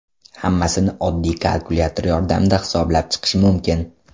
Hammasini oddiy kalkulyator yordamida hisoblab chiqish mumkin.